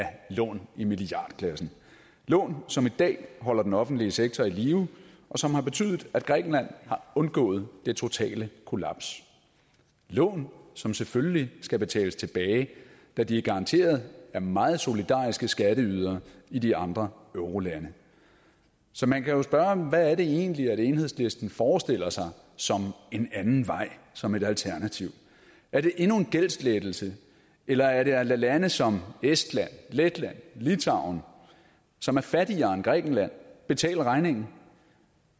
lån i milliardklassen lån som i dag holder den offentlige sektor i live og som har betydet at grækenland har undgået det totale kollaps lån som selvfølgelig skal betales tilbage da de er garanteret af meget solidariske skatteydere i de andre eurolande så man kan jo spørge hvad er det egentlig enhedslisten forestiller sig som en anden vej som et alternativ er det endnu en gældslettelse eller er det at lade lande som estland letland litauen som er fattigere end grækenland betale regningen